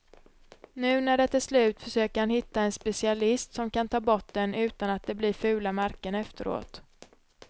Nu när det är slut försöker han hitta en specialist som kan ta bort den utan att det blir fula märken efteråt.